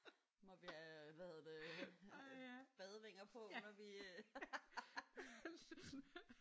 Må vi have hvad hedder det badevinger på når vi øh